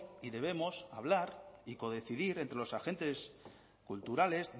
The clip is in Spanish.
y debemos hablar y codecidir entre los agentes culturales